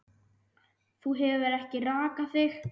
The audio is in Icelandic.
Þú hefur ekki rakað þig.